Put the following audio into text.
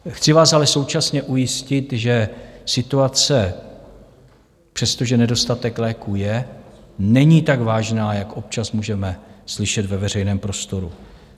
Chci vás ale současně ujistit, že situace, přestože nedostatek léků je, není tak vážná, jak občas můžeme slyšet ve veřejném prostoru.